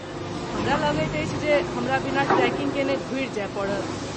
हमरा लगैत अछि जे हमरा बिना ट्रेकिंग केने घुरि जाय पड़त।